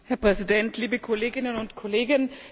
Herr Präsident, liebe Kolleginnen und Kollegen!